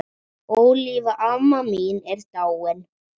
Ólína amma mín er dáin.